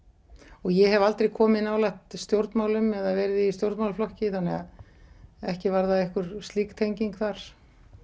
og ég hef aldrei komið nálægt stjórnmálum eða verið í stjórnmálaflokki þannig að ekki var það einhver slík tenging þar